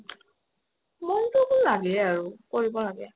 মনটো তো আৰু লাগে আৰু কৰিব লাগে